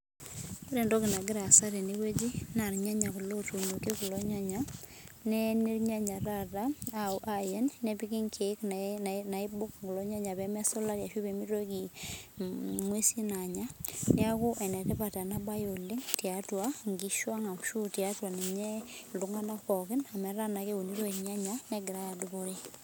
Ore entoki nagira aasa tenewueji naa irnyanya ootuunoki nepiki nkeek peemitiki inkishu enya tenebo kulie tokiting ake neeku enetipat ena baye ooleng